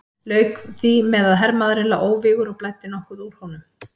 Lauk því með að hermaðurinn lá óvígur og blæddi nokkuð úr honum.